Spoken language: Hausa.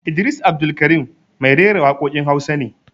Idris Abdulkarim mai rera waƙoƙin Hausa ne